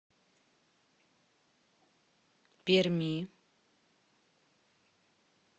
перми